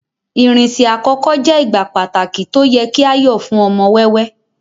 irinṣẹ àkókò je igbá pàtàkì to o ye ki a yo fún ọmọ wẹwẹ